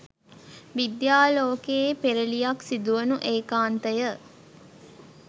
විද්‍යා ලෝකයේ පෙරළියක් සිදුවනු ඒකාන්තය